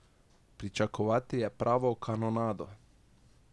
Pričakovati je pravo kanonado.